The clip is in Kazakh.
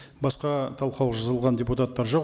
басқа талқылауға жазылған депутаттар жоқ